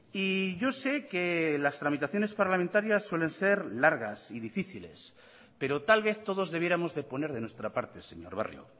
y yo sé que las tramitaciones parlamentarias suelen ser largas y difíciles pero tal vez todos debiéramos de poner de nuestra parte señor barrio